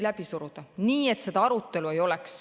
... läbi suruda, nii et arutelu ei oleks.